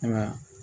Ayiwa